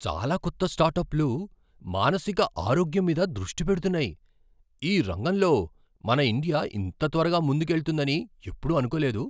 చాలా కొత్త స్టార్టప్లు మానసిక ఆరోగ్యం మీద దృష్టి పెడుతున్నాయి! ఈ రంగంలో మన ఇండియా ఇంత త్వరగా ముందుకెళ్తుందని ఎప్పుడూ అనుకోలేదు.